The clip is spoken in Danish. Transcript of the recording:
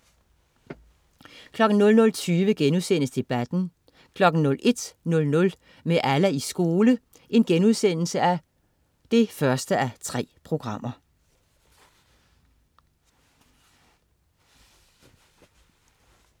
00.20 Debatten* 01.00 Med Allah i skole 1:3*